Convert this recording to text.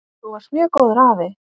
Þú varst mjög góður afi.